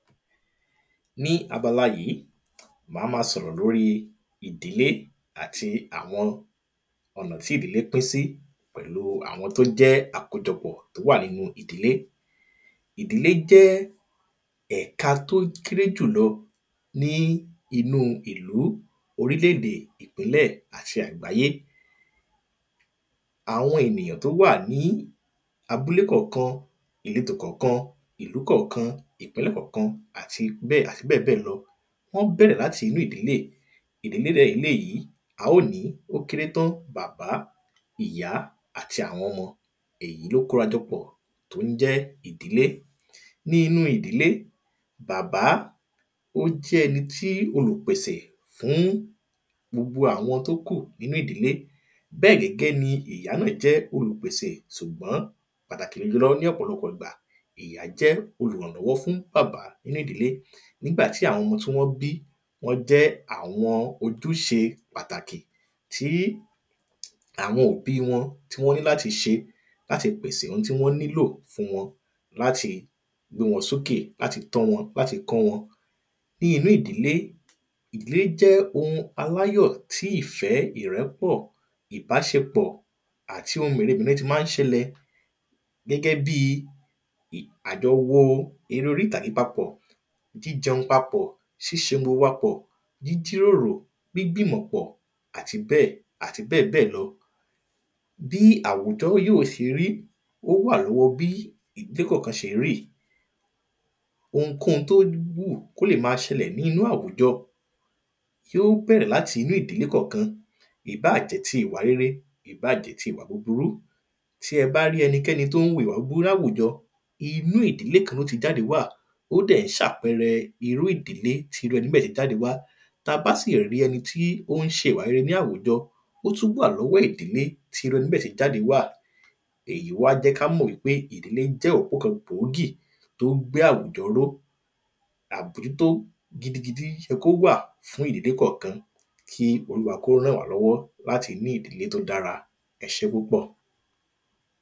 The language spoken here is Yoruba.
Ní abala yìí máa ma sọ̀rọ̀ lórí ìdílé àti àwọn ọ̀nà tí ìdílé pín sí pẹ̀lú àwọn tí ó jẹ́ àkójọpọ̀ tí ó wà nínú ìdílé Ìdílé jẹ́ ẹ̀ka tí ó kéré jùlọ ní inú ìlú orílẹ̀ èdè ìpínlẹ̀ àti àgbáyé Àwọn ènìyàn tí ó wà ní àbúle kọ̀ọ̀kan ìletò kọ̀ọ̀kan ìlú kọ̀ọ̀kan ìpínlẹ̀ kọ̀ọ̀kan àti bẹ́ẹ̀ àti bẹ́ẹ̀bẹ́ẹ̀ lọ wọ́n bẹ̀rẹ̀ láti inú ìdílé Ìdílé dẹ̀ ni eléyì a óò ní ó kéré tán bàbá ìyá àti àwọn ọmọ èyí ni ó kórajọ pọ̀ tí ó ń jẹ́ ìdílé Ní inú ìdílé bàbá ó jẹ́ ẹni tí olùpèsè fún gbogbo àwọn tí ó kù nínú ìdílé Bẹ́ẹ̀ gẹ́gẹ́ ni ìyá náà jẹ́ olùpèsè ṣùgbọ́n pàtàkì jùlọ ní ọ̀pọ̀lọpọ̀ ìgbà ìyá jẹ́ olùrànlọ́wọ́ fún bàbá nínú ìdílé Nígbà tí àwọn ọmọ tí wọn bí wọ́n jẹ́ àwọn ojúṣe pàtàkì tí àwọn òbí wọn tí wọ́n ní láti ṣe láti pèsè oun tí wọ́n nílò fún wọn láti gbé wọn sókè láti tọ́ wọn láti kọ́ wọn Ni inú ìdílé ìdílé jẹ́ oun aláyọ̀ tí ìfẹ́ ìrẹ́pọ̀ ìbáṣepọ̀ àti oun mèremère tí máa ń ṣẹlẹ̀ Gẹ́gẹ́ bíi àjọwo èré orí ìtàgé papọ̀ jíjẹun papọ̀ ṣiṣe oun gbogbo papọ̀ jíjíròrò gbígbi ìmọ̀ pọ̀ àti bẹ́ẹ̀ àti bẹ́ẹ̀bẹ́ẹ̀ lọ Ounkóun tí ó wù kí ó lè máa ṣẹlẹ̀ ní inú àwùjọ tí ó bẹ̀rẹ̀ láti inú ìdílé kọ̀ọ̀kan ìbá jẹ́ ti ìwà rere ìbá jẹ́ tí ìwà búburú Ounkóun tí ó wù kí ó lè máa ṣẹlẹ̀ ní inú àwùjọ tí ó bẹ̀rẹ̀ láti inú ìdílé kọ̀ọ̀kan ìbá jẹ́ ti ìwà rere ìbá jẹ́ tí ìwà búburú Tí ẹ bá rí ẹnikẹni tí ó wù ìwà búburú ní àwùjọ inú ìdílé kan ni ó tí jáde wá Ó dẹ̀ ń ṣe àpẹẹrẹ irú ìdílé tí irú ẹni bẹ́ẹ̀ tí jáde wá Tí a bá sì rí ẹni tí ó ń ṣe ìwà rere ní àwùjọ ó tún wà ní ọwọ́ ìdílé tí irú ẹni bẹ́ẹ̀ tí jáde wá Èyí wá jẹ́ kí a mọ wípé ìdílé jẹ́ òpó kan gbòógì tí ó gbé àwùjọ ró Abójútó gidigidi yẹ kí ó wà fún ìdílé kọ̀ọ̀kan kí olúwa kí ó rànwálọ́wọ́ láti ní ìdílé tí ó dára Ẹ ṣé púpọ̀